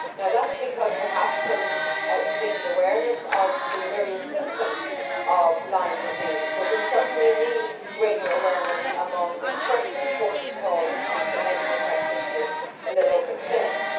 That is perhaps because there isn't sufficient awareness of the myriad symptoms of Lyme disease, but we certainly need greater awareness among the first port of call, which is the medical practitioners in the local clinics.